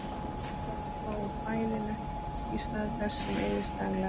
Járn þarf að fá úr fæðinu í stað þess sem eyðist daglega.